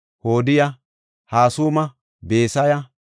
Hodiya, Hasuma, Besaya,